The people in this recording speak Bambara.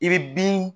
I bɛ bin